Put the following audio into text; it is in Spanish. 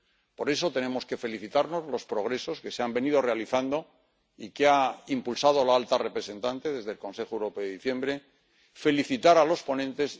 Por eso tenemos que felicitarnos por los progresos que se han venido realizando y que ha impulsado la alta representante desde el Consejo Europeo de diciembre y felicitar a los ponentes.